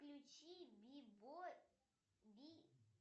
включи би бо би